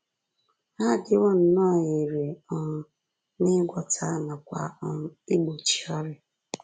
Ha adịwo nnọọ irè um n’ịgwọta nakwa um n’igbochi ọrịa